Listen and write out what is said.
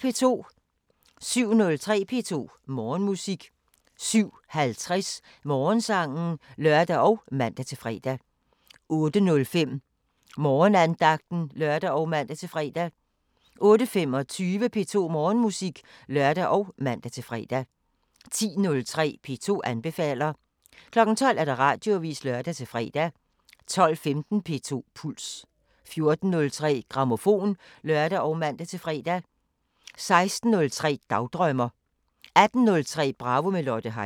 07:03: P2 Morgenmusik 07:50: Morgensangen (lør og man-fre) 08:05: Morgenandagten (lør og man-fre) 08:25: P2 Morgenmusik (lør og man-fre) 10:03: P2 anbefaler 12:00: Radioavisen (lør-fre) 12:15: P2 Puls 14:03: Grammofon (lør og man-fre) 16:03: Dagdrømmer 18:03: Bravo – med Lotte Heise